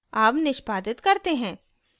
अब निष्पादित करते हैं